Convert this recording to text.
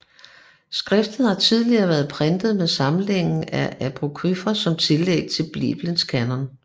Skriftet har tidligere været printet med samlingen af apokryfer som tillæg til Biblens kanon